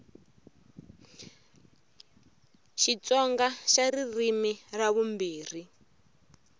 xitsonga xa ririmi ra vumbirhi